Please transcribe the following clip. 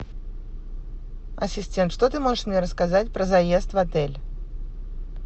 ассистент что ты можешь мне рассказать про заезд в отель